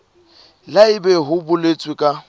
le haebe ho boletswe ka